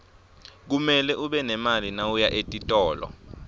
kumele ube nemali mawuya etitolo